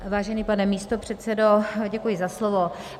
Vážený pane místopředsedo, děkuji za slovo.